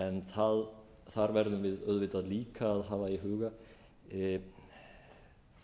en þar verðum við auðvitað líka að hafa í huga